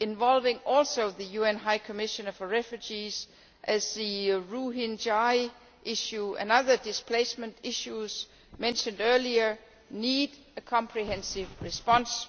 involving also the UN High Commissioner for Refugees, as the Rohingya issue and the other displacement issues mentioned earlier need a comprehensive response.